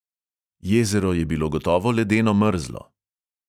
Jezero je bilo gotovo ledeno mrzlo.